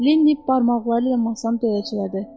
Lenny barmaqları ilə masanı döyəclədi.